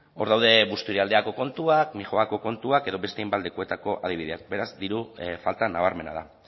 hor daude busturialdeako kontuak mijoako kontuak edo beste hainbat lekuetako adibideak beraz diru falta nabarmena da